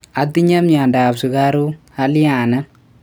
Atinye miondop sugaruk, aaliane?